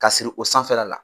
K'a siri o sanfɛla la.